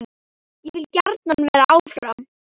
Ég vil gjarnan vera áfram.